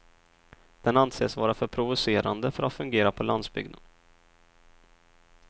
Den anses vara för provocerande för att fungera på landsbygden.